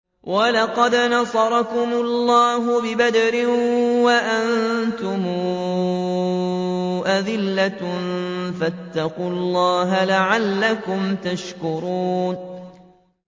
وَلَقَدْ نَصَرَكُمُ اللَّهُ بِبَدْرٍ وَأَنتُمْ أَذِلَّةٌ ۖ فَاتَّقُوا اللَّهَ لَعَلَّكُمْ تَشْكُرُونَ